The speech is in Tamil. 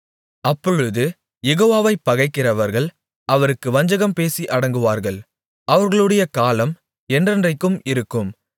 அப்பொழுது யெகோவாவைப் பகைக்கிறவர்கள் அவருக்கு வஞ்சகம் பேசி அடங்குவார்கள் அவர்களுடைய காலம் என்றென்றைக்கும் இருக்கும்